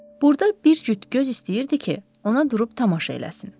Burda bir cüt göz istəyirdi ki, ona durub tamaşa eləsin.